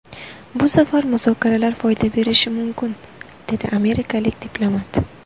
Bu safar muzokaralar foyda berishi mumkin”, dedi amerikalik diplomat.